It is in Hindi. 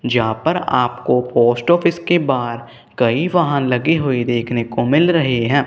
जहाँ पर आपको पोस्ट ऑफिस के बाहर कहीं वाहन लगे हुये देखने को मिल रहे हैं।